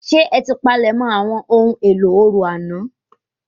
Ṣé ẹ ti palẹ̀ mọ àwọn ohun èlò orò àná